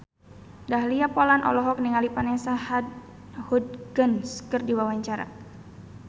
Dahlia Poland olohok ningali Vanessa Hudgens keur diwawancara